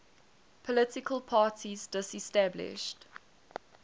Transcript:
political parties disestablished